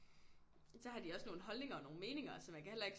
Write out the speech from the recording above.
Der har de også nogle holdninger og nogle meninger så man kan heller ikke